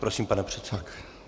Prosím, pane předsedo.